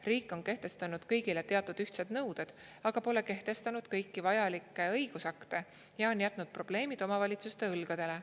Riik on kehtestanud kõigile teatud ühtsed nõuded, aga pole kehtestanud kõiki vajalikke õigusakte ja on jätnud probleemid omavalitsuste õlgadele.